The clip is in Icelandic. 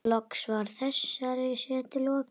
Loks var þessari setu lokið.